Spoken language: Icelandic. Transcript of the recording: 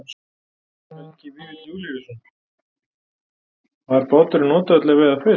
Helgi Vífill Júlíusson: Var báturinn notaður til að veiða fisk?